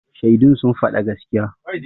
Shaidun sun faɗa gaskiya.